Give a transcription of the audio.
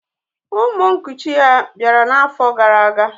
Ụmụ nkuchi ya bịara n'afọ gara aga